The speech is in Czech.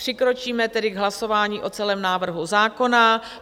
Přikročíme tedy k hlasování o celém návrhu zákona.